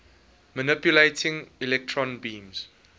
manipulating electron beams